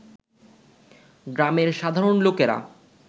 গ্রামের সাধারণ লোকেরা